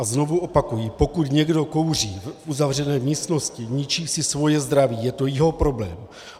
A znovu opakuji, pokud někdo kouří v uzavřené místnosti, ničí si svoje zdraví, je to jeho problém.